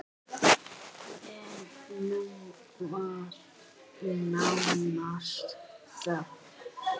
En nú var nánast þögn!